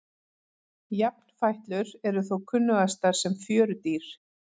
Jafnfætlur eru þó kunnugastar sem fjörudýr.